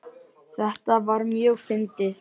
Þetta var mjög fyndið.